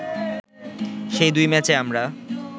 সেই দুই ম্যাচে আমরা